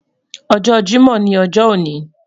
Ojo Jimo ni ojo oni